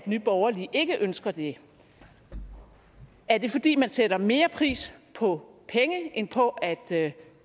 nye borgerlige ikke ønsker det er det fordi man sætter mere pris på penge end på at